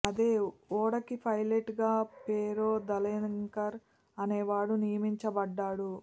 అదే ఓడకి పైలట్ గా పెరో దలెంకర్ అనే వాడు నియమించబడ్డాడు